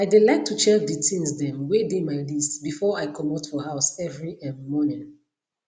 i de like to check de things dem wey de my list before i comot for house every um morning